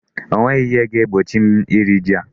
O nweghị ihe ga-egbochi m iri ji a.